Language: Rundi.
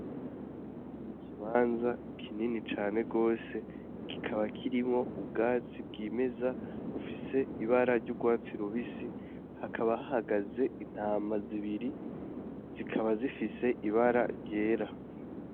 Ni ikibanza kinini cane gose, kikaba kirimwo ubwatsi bwimeza bufise ibara ry'urwatsi rubisi, hakaba hahagaze intama zibiri, zikaba zifise ibara ryera.